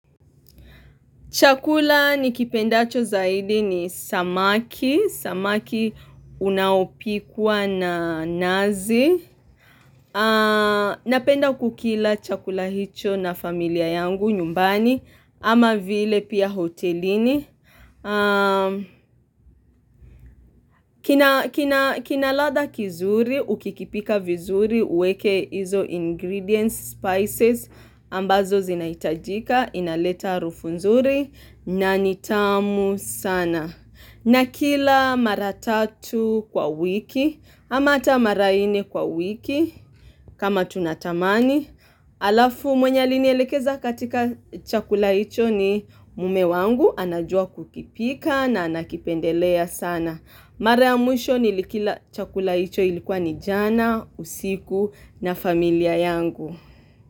Chakula nikipendacho zaidi ni samaki. Samaki unaopikwa na nazi. Napenda kukila chakula hicho na familia yangu nyumbani ama vile pia hotelini. Kina ladha kizuri, ukikipika vizuri, uweke izo ingredients, spices, ambazo zinahitajika, inaleta harufu nzuri. Na nitamu sana na kila mara tatu kwa wiki ama hata mara nne kwa wiki kama tunatamani Alafu mwenye alinielekeza katika chakula hicho ni mume wangu anajua kukipika na anakipendelea sana Mara ya mwisho nilikila chakula hicho ilikuwa ni jana usiku na familia yangu.